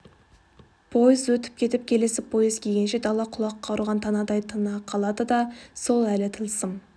пойыз өтіп кетіп келесі пойыз келгенше дала құлаққа ұрған танадай тына қалады да сол әлі тылсым